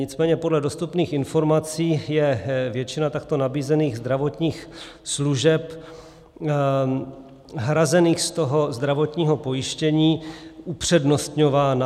Nicméně podle dostupných informací je většina takto nabízených zdravotních služeb hrazených z toho zdravotního pojištění upřednostňována.